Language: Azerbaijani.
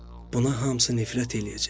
Buna hamısı nifrət eləyəcək.